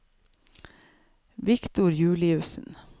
Viktor Juliussen